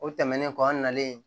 O tɛmɛnen kɔ an nalen